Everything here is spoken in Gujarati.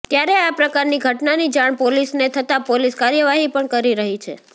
ત્યારે આ પ્રકારની ઘટનાની જાણ પોલીસને થતા પોલીસ કાર્યવાહી પણ કરી રહી છે